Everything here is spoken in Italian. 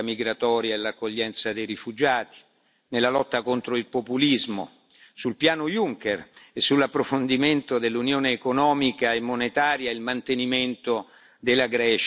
nella lotta contro il populismo sul piano Juncker e sull'approfondimento dell'Unione economica e monetaria e il mantenimento della Grecia nell'area dell'euro.